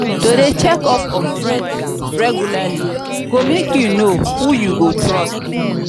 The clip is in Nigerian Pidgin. to de check up on friends regularly go make you know who you go trust